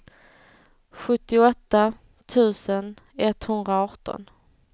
sjuttioåtta tusen etthundraarton